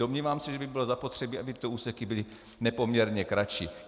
Domnívám se, že by bylo zapotřebí, aby tyto úseky byly nepoměrně kratší.